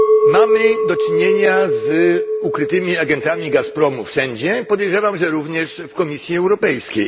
Mamy do czynienia z ukrytymi agentami Gazpromu wszędzie, podejrzewam, że również w Komisji Europejskiej.